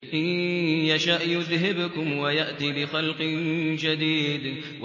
إِن يَشَأْ يُذْهِبْكُمْ وَيَأْتِ بِخَلْقٍ جَدِيدٍ